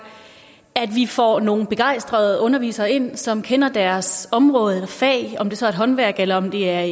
at vi får nogle begejstrede undervisere ind som kender deres område eller fag om det så er et håndværk eller om det er